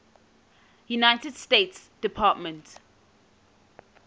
united states department